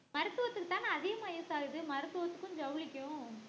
மருத்துவத்துக்கு தான அதிகமா use ஆகுது மருத்துவத்துக்கும் ஜவுளிக்கும்